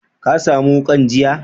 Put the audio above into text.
Ka samu wukan jiya?